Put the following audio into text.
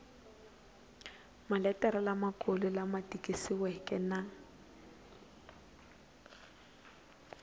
maletere lamakulu lama tikisiweke na